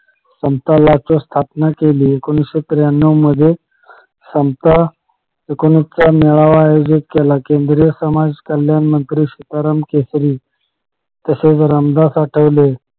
समता लोचक स्थापना केली एकोणीशे त्र्यानाव मध्ये समता एकोणीस चा मेळावा आयोजित केला केंद्रीय समाज कल्याणमंत्री सीताराम केसरी तसेच रामदासाठवले